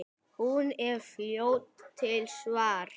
Hún er fljót til svars.